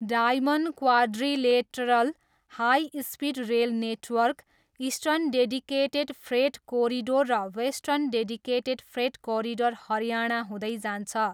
Diamond quadrilateral high speed rail network, eastern dedicated freight corridor र western dedicated freight corridor Haryana हुँदै जान्छ।